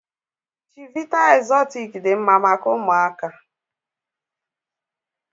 Chivita exortic dị mma maka ụmụaka.